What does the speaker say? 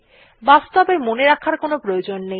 বাস্তবে মনে রাখার কোনো প্রয়োজন নেই